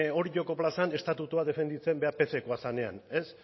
orioko plazan estatutua defenditzen behar pckoa zenean ez